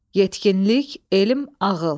Yetkinlik, elm, ağıl.